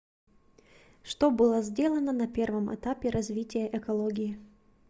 что было сделано на первом этапе развития экологии